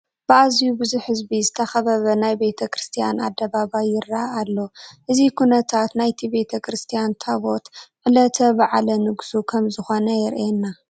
ብኣዝዩ ብዙሕ ህዝቢ ዝተኸበበ ናይ ቤተ ክርስቲያን ኣደባባይ ይርአ ኣሎ፡፡ እዚ ኩነታት ናይቲ ቤተ ክርስቲያን ታቦት ዕለተ በዓለ ንግሱ ከምዝኾነ የርእየና፡፡